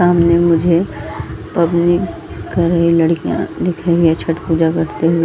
सामने मुझे पब्लिक कर रही लड़कियां दिख रही हैं छठ पूजा करते हुए --